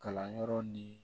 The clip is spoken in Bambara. Kalanyɔrɔ ni